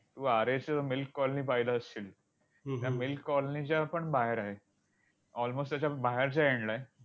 तू आरेची milk colony पाहिलं असशील. त्या milk colony च्यापण बाहेर आहे. almost त्याच्या बाहेरच्या end ला आहे.